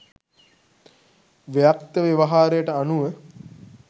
ව්‍යක්ත ව්‍යවහාරයට අනුව